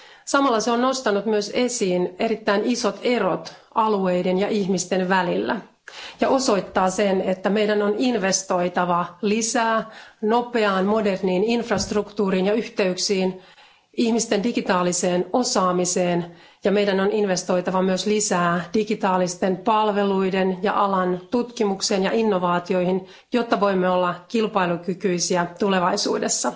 Samalla se on nostanut myös esiin erittäin isot erot alueiden ja ihmisten välillä ja osoittaa sen, että meidän on investoitava lisää nopeaan moderniin infrastruktuuriin ja yhteyksiin, ihmisten digitaaliseen osaamiseen ja että meidän on investoitava myös lisää digitaalisten palveluiden ja alan tutkimukseen ja innovaatioihin, jotta voimme olla kilpailukykyisiä tulevaisuudessa.